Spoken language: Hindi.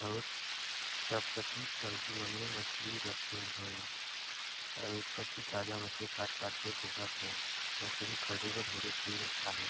और सब कती टंकी मन मे मछली रखेन हय और एक कती ताजा मछली काट-काट के देखत हाय मछली खरीदे बर ढेर भीड़ आहे।